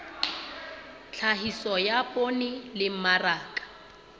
tlhahiso ya poone le mmaraka